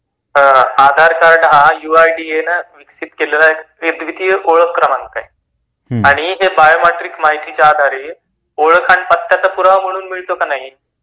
आधार card है आता UID नी एक्सेप्ट केलेला एक द्वितीय ओळख क्रमांक आहे आणि पत्त्याचा पुरावा म्हणून मिळतो की नाही